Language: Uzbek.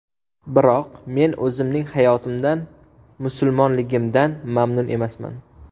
Biroq... men o‘zimning hayotimdan, musulmonligimdan mamnun emasman.